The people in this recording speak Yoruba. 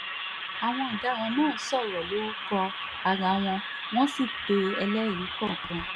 àwọn ọ̀daràn náà sọ̀rọ̀ lórúkọ ara wọn wọ́n sì pe ẹlẹ́rìí kọ̀ọ̀kan